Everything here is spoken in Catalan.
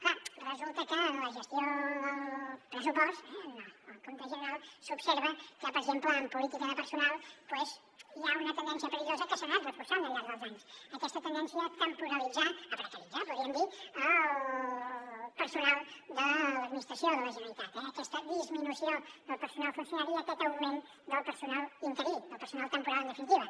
clar resulta que en la gestió del pressupost eh en el compte general s’observa que per exemple en política de personal doncs hi ha una tendència perillosa que s’ha anat reforçant al llarg dels anys aquesta tendència a temporalitzar a precaritzar en podríem dir el personal de l’administració de la generalitat eh aquesta disminució del personal funcionari i aquest augment del personal interí del personal temporal en definitiva